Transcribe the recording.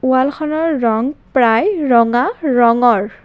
ৱালখনৰ ৰং প্ৰায় ৰঙা ৰঙৰ।